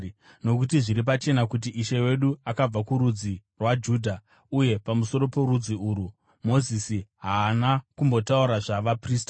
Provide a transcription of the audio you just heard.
Nokuti zviri pachena kuti Ishe wedu akabva kurudzi rwaJudha uye pamusoro porudzi urwu Mozisi haana kumbotaura zvavaprista.